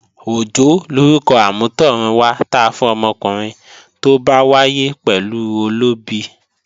Òjó lorúkọ amútọ̀run wá ta fún ọmọkùnrin tó bá wáyé pẹ̀lú olóbi